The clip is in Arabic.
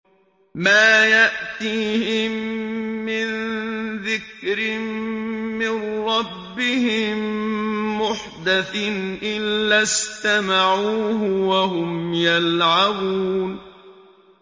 مَا يَأْتِيهِم مِّن ذِكْرٍ مِّن رَّبِّهِم مُّحْدَثٍ إِلَّا اسْتَمَعُوهُ وَهُمْ يَلْعَبُونَ